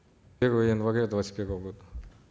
с первого января двадцать первого года